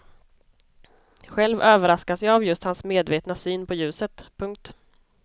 Själv överraskas jag av just hans medvetna syn på ljuset. punkt